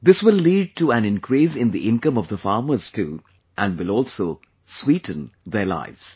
This will lead to an increase in the income of the farmers too and will also sweeten their lives